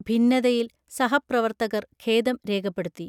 ഭിന്നതയിൽ സഹപ്രവർത്തകർ ഖേദം രേഖപ്പെടുത്തി